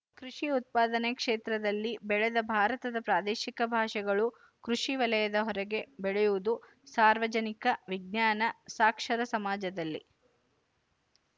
ಕೃಶಿ ಉತ್ಪಾದನಾ ಕ್ಷೇತ್ರದಲ್ಲಿ ಬೆಳೆದ ಭಾರತದ ಪ್ರಾದೇಶಿಕ ಭಾಷೆಗಳು ಕೃಶಿ ವಲಯದ ಹೊರಗೆ ಬೆಳೆಯುವುದು ಸಾರ್ವಜನಿಕ ವಿಜ್ಞಾನ ಸಾಕ್ಷರ ಸಮಾಜದಲ್ಲಿ